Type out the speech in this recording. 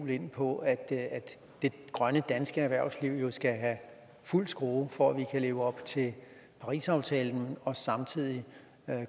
ind på at det grønne danske erhvervsliv skal have fuld skrue for at vi kan leve op til parisaftalen og samtidig